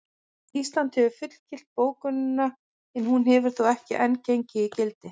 Ísland hefur fullgilt bókunina en hún hefur þó ekki enn gengið í gildi.